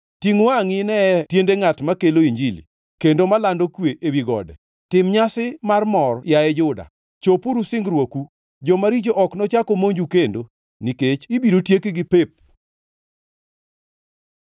Tingʼ wangʼi, ineye tiende ngʼat makelo Injili, kendo malando kwe ewi gode! Tim nyasi mar mor, yaye Juda, chopuru singruoku. Jomaricho ok nochak omonju kendo; nikech ibiro tiekgi pep.